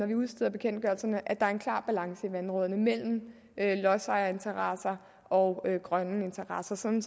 vi udsteder bekendtgørelserne at der er en klar balance i vandrådene mellem lodsejerinteresser og grønne interesser sådan